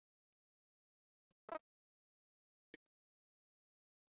Theodóra, pantaðu tíma í klippingu á fimmtudaginn.